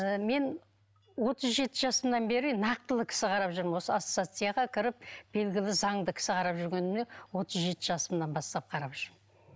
ыыы мен отыз жеті жасымнан бері нақтылы кісі қарап жүрмін осы ассоцияцияға кіріп белгілі заңды кісі қарап жүргеніме отыз жеті жасымнан бастап қарап жүрмін